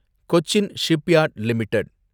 Cochin Shipyard limited